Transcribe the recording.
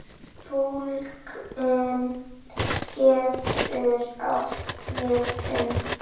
Túlkun getur átt við um